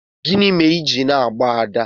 gini mere i ji na-agba Ada?